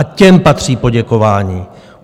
A těm patří poděkování.